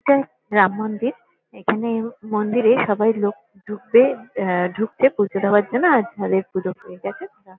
এটা রাম মন্দির। এখানে মন্দিরে সবাই লোক ঢুকবে আ ঢুকছে পুজো দেওয়ার জন্য আর যাদের পুজো হয়ে গেছে তারা--